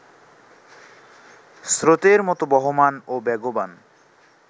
স্রোতের মতো বহমান ও বেগবান